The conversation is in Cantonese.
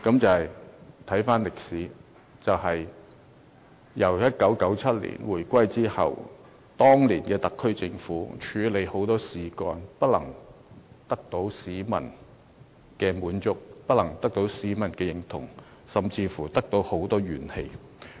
從歷史來看，香港自1997年回歸之後，當年特區政府在處理很多事情上不但不能獲得市民認同，反而引發很多怨氣。